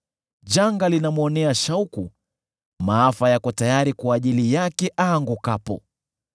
Janga linamwonea shauku; maafa yako tayari kwa ajili yake aangukapo.